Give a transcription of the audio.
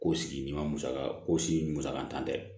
Ko sigi ma musaka ko si musakatan tɛ